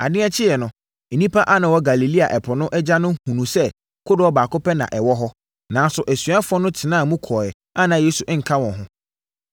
Adeɛ kyeeɛ no, nnipa a na wɔwɔ Galilea ɛpo no agya no hunuu sɛ kodoɔ baako pɛ na na ɛwɔ hɔ, nanso asuafoɔ no tenaa mu kɔeɛ a na Yesu nka wɔn ho.